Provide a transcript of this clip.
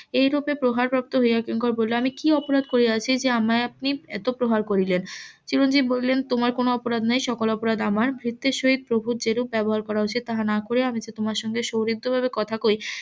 এই রূপে প্রহার প্রাপ্ত হইয়া কিঙ্কর বলিল আমি কি অপরাধ করিয়াছি যে আমায় আপনি এত প্রহার করিলেন চিরঞ্জিব বলিলেন তোমার কোনো অপরাধ নেই সকল অপরাধ আমার ভৃত্যের সহিত প্রভুর যেরকম ব্যবহার করা উচিত তাহা না করিয়া আমি তোমার সঙ্গে . কথা কই